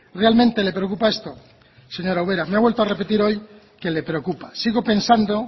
realmente le preocupa esto señora ubera me ha vuelto a repetir hoy que le preocupa sigo pensando